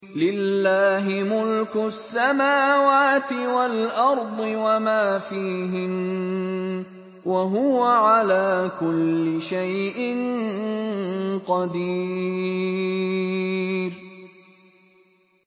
لِلَّهِ مُلْكُ السَّمَاوَاتِ وَالْأَرْضِ وَمَا فِيهِنَّ ۚ وَهُوَ عَلَىٰ كُلِّ شَيْءٍ قَدِيرٌ